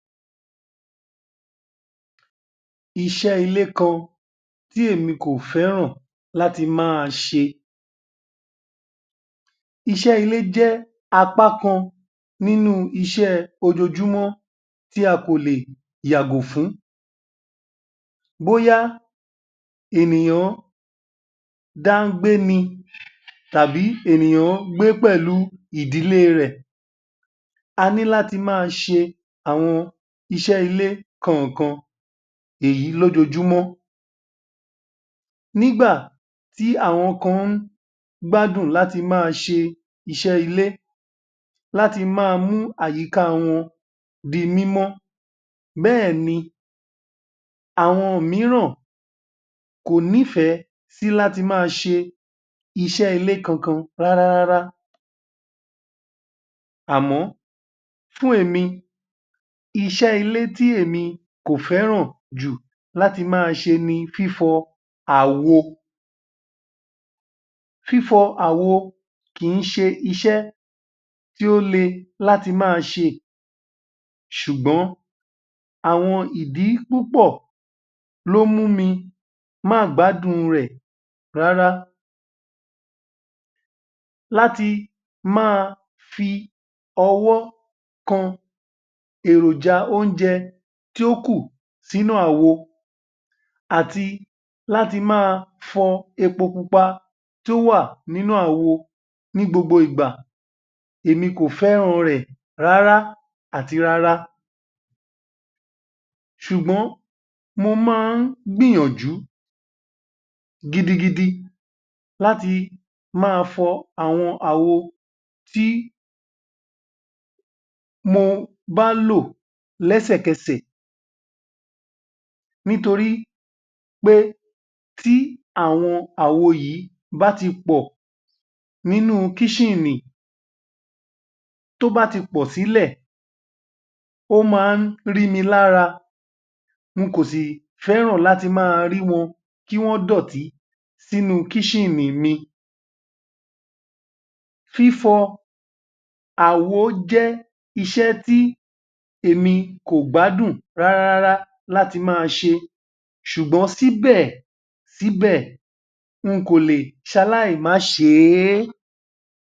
Iṣẹ́ Ilé Kan Tí Èmi Kò Fẹ́ràn Láti Máa Ṣe é Iṣẹ́ ilé jẹ́ apá kan nínú iṣẹ́ ojoojúmọ́ tí a kò lè yàgò fún un. Bóyá ènìyàn dá gbé ni tàbí ènìyàn gbé pẹ̀lú ìdílé rẹ̀. A ní láti máa ṣe àwon iṣẹ́ ilé kankan èyí lójoojúmọ́. Nígbà tí àwọn kan gbádùn láti máa ṣe iṣẹ́ ilé, láti máa mú àyíká wọn di mímọ́ bẹ́è ni àwọn mìíràn kò nífẹ̀ẹ́ sí láti máa ṣe iṣẹ́ ilé kankan rárárá. Àmọ́ fún èmi, iṣẹ́ ilé ti èmi kò fẹ́ràn jù láti máa ṣe ni fífọ àwo. Fífọ àwo kì í ṣe iṣẹ́ tí ó le láti máa ṣe ṣùgbọ́n àwọn ìdí púpọ̀ ló mú mi má gbádùn rẹ̀ rárá. Láti máa fi ọwọ́ kàn èròjà oúnjẹ tí ó kù sínú àwo àti láti máa fọ epo pupa tí ó wà nínú àwo ní gbogbo ìgbà, èmi kò fẹ́ràn rẹ̀ rárá àti rárá. Ṣùgbọ́n mo máa ń gbìyànjú gidigidi láti máa fọ àwọn àwo tí mo bá lò léṣèkeṣè nítorí pé tí àwọn àwo yìí bá tí pọ̀ nínú kíṣìnì, tí ó bá ti pọ̀ sílẹ̀, ó máa rìí mi lára, mi kò sì fẹ́ràn láti máa rí wọn kí wọn dọ̀tí sínú kíṣìnì mi. Fífọ àwo jẹ́ iṣẹ́ tí èmi kò gbádùn rárárá láti máa ṣe ṣùgbọ́n síbẹ̀síbẹ̀, mi kò lè ṣe aláì máa ṣe é.